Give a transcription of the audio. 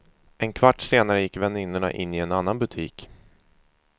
En kvart senare gick väninnorna in i en annan butik.